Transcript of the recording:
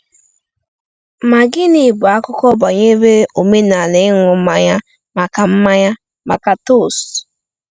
Ma gịnị bụ akụkọ banyere omenala ịṅụ mmanya maka mmanya maka toast?